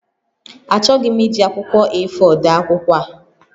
Achọghị m iji akwụkwọ A4 dee akwụkwọ a